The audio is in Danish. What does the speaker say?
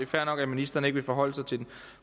fair nok at ministeren ikke vil forholde sig til den